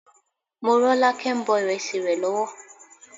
Morọ́lákẹ́ ń bọ ìrẹsì rẹ lọ́wọ́.